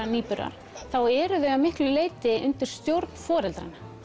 nýburar þá eru þau að miklu leyti undir stjórn foreldranna